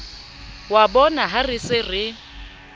wa bonaha re se re